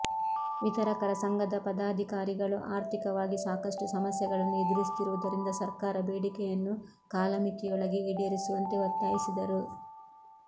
ವಿತರಕರ ಸಂಘದ ಪದಾಧಿಕಾರಿಗಳು ಆರ್ಥಿಕವಾಗಿ ಸಾಕಷ್ಟು ಸಮಸ್ಯೆಗಳನ್ನು ಎದುರಿಸುತ್ತಿರುವುದರಿಂದ ಸರ್ಕಾರ ಬೇಡಿಕೆಯನ್ನು ಕಾಲಮಿತಿಯೊಳಗೆ ಈಡೇರಿಸುವಂತೆ ಒತ್ತಾಯಿಸಿದರು